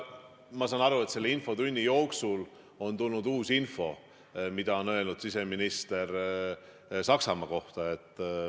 Ma saan aru, et selle infotunni jooksul on tulnud uut infot, mida on öelnud siseminister Saksamaa kohta.